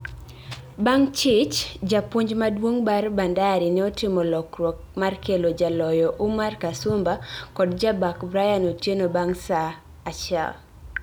bang chich japuonj maduong mar Bandari neotimo lokruok mar kelo jaloyo Umar Kasumba kod jabak Brian Otieno bang saa achiel